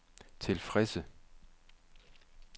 tilfredse